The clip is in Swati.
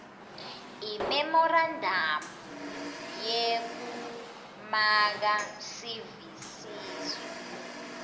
imemorandamu yekumaka sivisiso